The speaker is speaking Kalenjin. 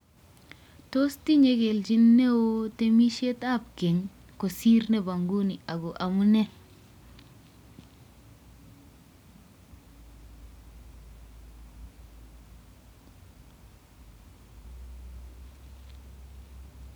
Tos tinye kelchin neo temisietab keny kosir nebo nguni ago amunee?